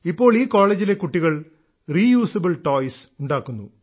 ഇപ്പോൾ ഈ കോളേജിലെ കുട്ടികൾ റീ യൂസബിൾ ടോയ്സ് ഉണ്ടാക്കുന്നു